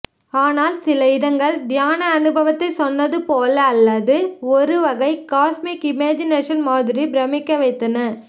ஆனால் சில இடங்கள் தியான அனுபவத்தைச் சொன்னதுபோல அல்லது ஒருவகை காஸ்மிக் இமேஜினேஷன் மாதிரி பிரமிக்கவைத்தன